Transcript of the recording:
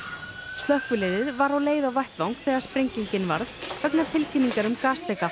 slökkvilið var á leið á vettvang þegar sprenginin varð vegna tilkynningar um